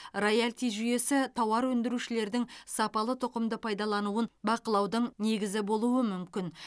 роялти жүйесі тауар өндірушілердің сапалы тұқымды пайдалануын бақылаудың негізі болуы мүмкін